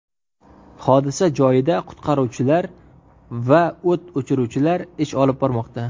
Hodisa joyida qutqaruvchilar va o‘t o‘chiruvchilar ish olib bormoqda.